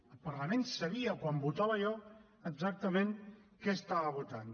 el parlament sabia quan votava allò exactament què estava votant